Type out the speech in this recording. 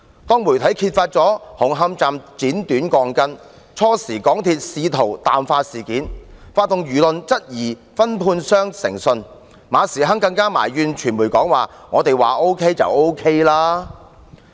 當媒體揭發紅磡站剪短鋼筋，港鐵公司最初試圖淡化事件，發動輿論質疑分判商的誠信，馬時亨更埋怨傳媒說"我們說 OK 便 OK 了"。